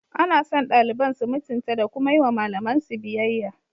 Ana son daliban su mutunta da kuma yi wa malamansu biyayya.